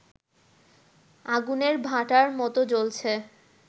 আগুনের ভাঁটার মতো জ্বলছে